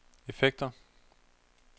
effekter